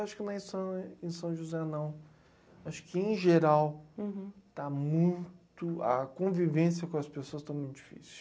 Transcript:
Acho que não é só em são José não. Acho que em geral, está muito, a convivência com as pessoas está muito difícil.